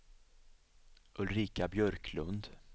Ulrika Björklund